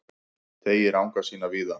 Teygir anga sína víða